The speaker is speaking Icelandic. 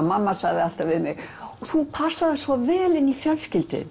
mamma sagði alltaf við mig þú passaðir svo vel inn í fjölskylduna